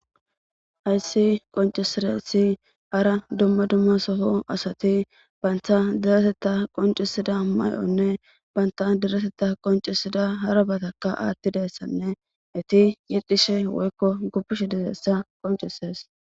ayssi qoncisiresi hara dumma dumma soho asati baynta deretetta qoncisida may7onne baynta deretetta qoncisida harabataka aattidessanne eti yexcishe woykko gubbish dizessa qoncises